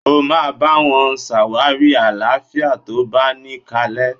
Ó máa bá wọn ṣàwárí àlàáfíà tó báni kalẹ́.!